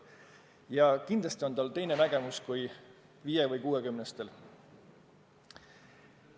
Ja kindlasti on tal teine nägemus kui 50- või 60-stel.